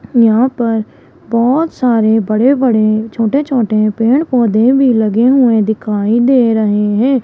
यहां पर बहोत सारे बड़े बड़े छोटे छोटे पेड़ पौधे भी लगे हुए दिखाई दे रहे हैं।